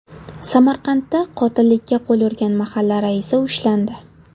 Samarqandda qotillikka qo‘l urgan mahalla raisi ushlandi.